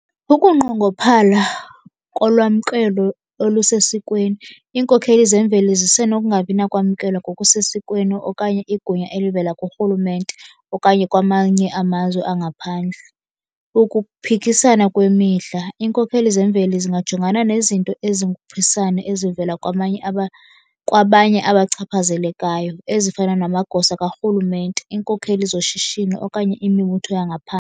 Ukunqongophala kolwamkelo olusesikweni, iinkokheli zemveli zisenokungabi nakwamkelwa ngokusesikweni okanye igunya elivela kurhulumente okanye kwamanye amazwe angaphandle. Ukuphikisana kwemihla, iinkokheli zemveli zingajongana nezinto ezinguphisane ezivela kwamanye , kwabanye abachaphazelekayo ezifana namagosa karhulumente, iinkokheli zoshishino okanye imibutho .